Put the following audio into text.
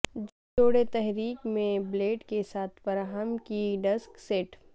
جوڑے تحریک میں بلیڈ کے ساتھ فراہم کی ڈسک سیٹ